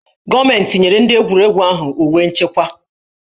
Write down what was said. Gọọmentị nyere ndị egwuregwu ahụ uwe nchekwa